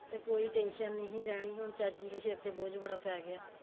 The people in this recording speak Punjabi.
ਤੇ ਕੋਈ tension ਨੀ ਹੀ ਰਹਿਣੀ ਹੁਣ ਚਾਚੀ ਦੇ ਸਿਰ ਤੇ ਬੋਜ਼ ਬੜਾ ਪੈ ਗਿਆ